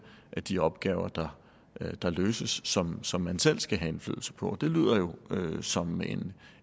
af de opgaver der der løses som som man selv skal have indflydelse på og det lyder jo som